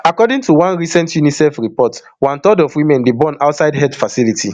according to one recent unicef report one third of women dey born outside health facility